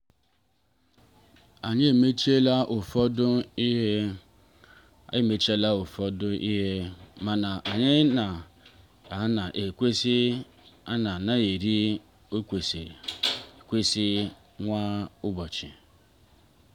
anyị emachiela ụfọdụ ihe emachiela ụfọdụ ihe mana anyị ka na-elekwasị anya na nri kwesịrị ekwesị kwa ụbọchị.